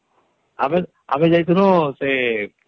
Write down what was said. ଆମେ....ଆମେ ଯାଇଥିନୁ ସେ ..